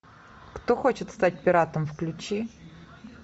кто хочет стать пиратом включи